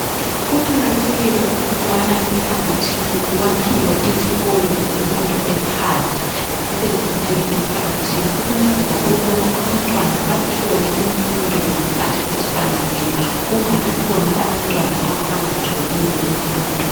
Kuqakathekile ukubana emphakathini kuwakhiwe izikolo zemfundo ephansi zibe zinengi emphakathini ukwenzela ukubana abantwana bathole imfundo ngesikhathi esifaneleyo. Kungabi khona abantwana abangatholiyo imfundo.